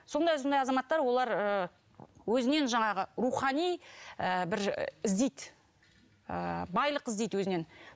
сондай сондай азаматтар олар ыыы өзінен жаңағы рухани ыыы бір іздейді ыыы байлық іздейді өзінен